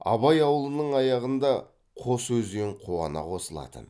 абай ауылының аяғында қос өзен қуана қосылатын